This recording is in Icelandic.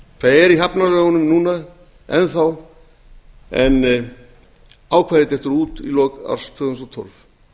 það er í hafnalögunum núna enn þá en ákvæðið dettur út í lok árs tvö þúsund og tólf